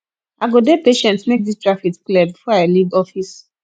i go dey patient make dis traffit clear before i leave office